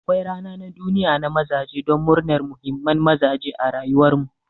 Akwai rana na duniya na mazaje don murnan muhimman mazaje a rayuwar mu.